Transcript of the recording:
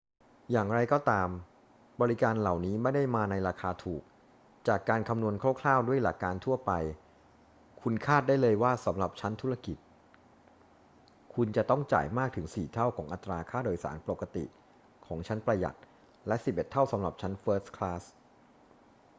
อย่างไรก็ตาม บริการเหล่านี้ไม่ได้มาในราคาถูก จากการคำนวณคร่าว ๆ ด้วยหลักการทั่วไป คุณคาดได้เลยว่าสำหรับชั้นธุรกิจคุณจะต้องจ่ายมากถึงสี่เท่าของอัตราค่าโดยสารปกติของชั้นประหยัด และสิบเอ็ดเท่าสำหรับชั้นเฟิสต์คลาส